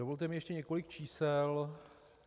Dovolte mi ještě několik čísel.